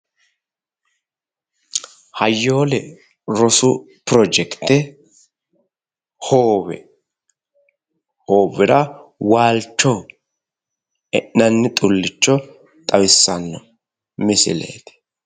Hayyoole rosu pirojetekite hoowe, hoowera waalchoho e'nanni xulcho xawissanno misileeti